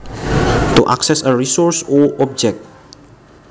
To access a resource or object